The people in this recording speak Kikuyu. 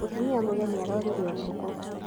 Mũtumia mũgeni arorire ũtukũ.